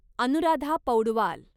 Anuradha Paudwal